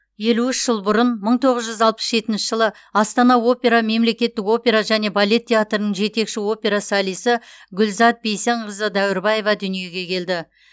елу үш жыл бұрын мың тоғыз жүз алпыс жетінші астана опера мемлекеттік опера және балет театрының жетекші опера солисі гүлзат бейсенқызы дәуірбаева дүниеге келді